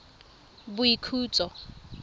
boikhutso